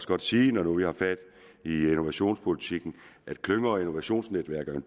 godt sige når nu vi har fat i innovationspolitikken at klynge og innovationsnetværket er